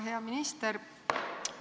Hea minister!